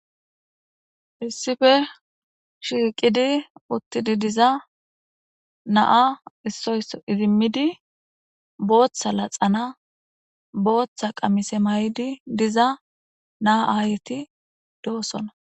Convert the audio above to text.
issife shiiqidi uttidi diza naa issoysso idimmidi booththa laxana booththa qamise may7di diza naa aayeti doossona